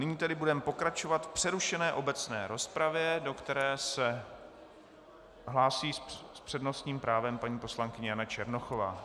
Nyní tedy budeme pokračovat v přerušené obecné rozpravě, do které se hlásí s přednostním právem paní poslankyně Jana Černochová.